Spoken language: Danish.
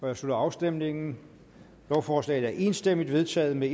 jeg slutter afstemningen lovforslaget er enstemmigt vedtaget med